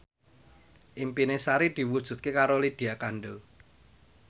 impine Sari diwujudke karo Lydia Kandou